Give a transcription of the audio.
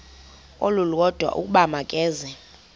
olulodwa ukuba makeze